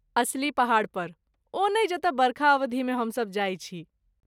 असली पहाड़ पर, ओ नहि जतऽ बरखा अवधिमे हम सब जाइ छी।